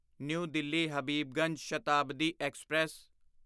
new Delhi Habibganj Shatabdi express